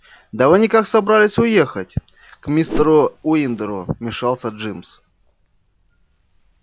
да вы никак собрались ехать к мистеру уиндеру вмешался джимс